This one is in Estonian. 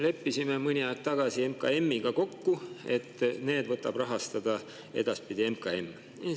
Leppisime mõni aeg tagasi MKM-iga kokku, et need võtab edaspidi rahastada MKM.